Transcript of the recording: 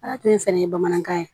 Ala tun fɛnɛ ye bamanankan ye